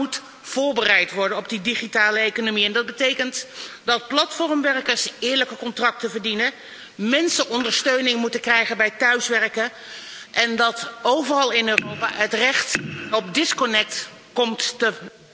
Europa moet voorbereid worden op die digitale economie, en dat betekent dat platformwerkers eerlijke contracten verdienen, mensen ondersteuning moeten krijgen bij thuiswerken, en dat overal in Europa het recht om offline te zijn komt te